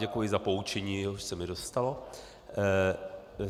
Děkuji za poučení, jež se mi dostalo.